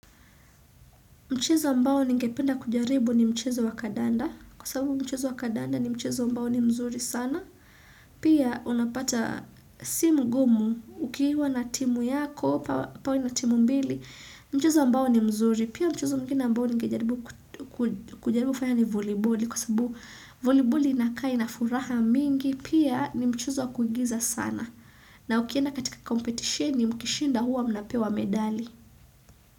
Mchezo ambao ningependa kujaribu ni mchezo wa kadanda. Kwa sababu mchezo wa kadanda ni mchezo ambao ni mzuri sana. Pia unapata simu gumu ukiiwa na timu yako, upawe na timu mbili. Mchizo mbao ni mzuri. Pia mchezo mwingine ambao ningejaribu kufanya ni voliboli. Kwa sababu voliboli inakaa ina furaha mingi. Pia ni mchezo wa kuigiza sana. Na ukienda katika competitioni mkishinda huwa mnapewa medali.